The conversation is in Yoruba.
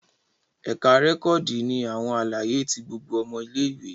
Ẹka rẹkọdi ni awọn alaye ti gbogbo ọmọ ìlé-ìwé